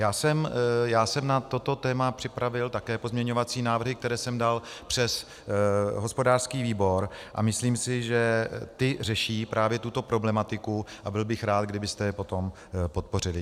Já jsem na toto téma připravil také pozměňovací návrhy, které jsem dal přes hospodářský výbor, a myslím si, že ty řeší právě tuto problematiku, a byl bych rád, kdybyste je potom podpořili.